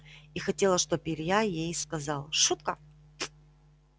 и хотела чтоб илья ей сказал шутка